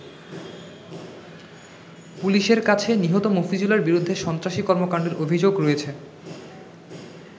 পুলিশের কাছে নিহত মফিজুলের বিরুদ্ধে সন্ত্রাসী কর্মকান্ডের অভিযোগ রয়েছে।